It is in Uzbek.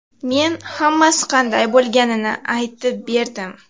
Men hammasi qanday bo‘lganini aytib berdim.